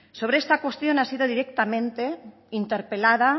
sobre esta cuestión ha sido directamente interpelada